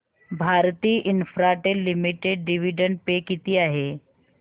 Bharti Infratel limited dividend pay किती आहे